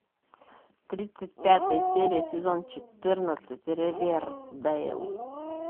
тридцать пятая серия сезон четырнадцать ривердейл